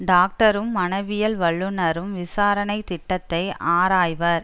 டாக்டரும் மனவியல் வல்லுநரும் விசாரணை திட்டத்தை ஆராய்வர்